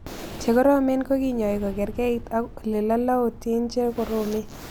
Che koromen ko kinyoi ko karkeit ak ole lalaotin che koromrn